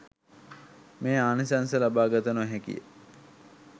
මේ ආනිසංස ලබාගත නො හැකිය.